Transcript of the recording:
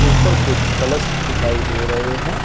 ऊपर कुछ कलश दिखाई दे रहे हैं।